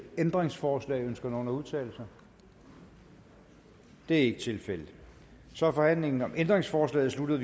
ændringsforslag ønsker nogen at udtale sig det er ikke tilfældet og så er forhandlingen om ændringsforslagene sluttet